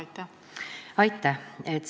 Aitäh!